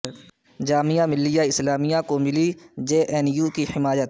جامعہ ملیہ اسلامیہ کو ملی J N U کی حمایت